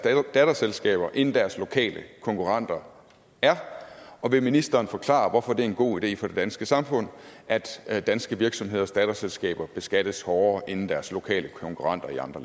datterselskaber end deres lokale konkurrenter er og vil ministeren forklare hvorfor det er en god idé for det danske samfund at at danske virksomheders datterselskaber beskattes hårdere end deres lokale konkurrenter i andre